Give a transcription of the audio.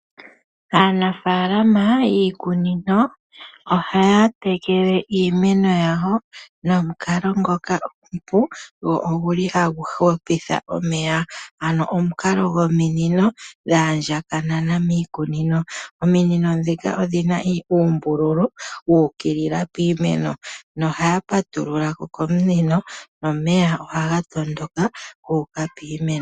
Aanafaalama yiikunino ohaya tekele iimeno yawo nomukala ngoka omupu noguli hagu hupitha omeya ano omukala gomunino gwaandjakana miikunino. Ominino dhoka odhina uumbululu wuukilila piimeno, ohaya patululako komunino nomeya ohaga tondoka guuka opiimeno.